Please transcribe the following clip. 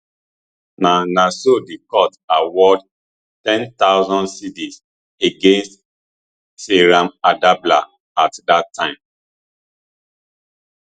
na na so di court award ghc ten thousand against seyram adablah at dat time